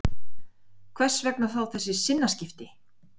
Hvers vegna þá þessi sinnaskipti?